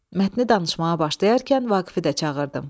Mətni danışmağa başlayarkən Vaqifi də çağırdım.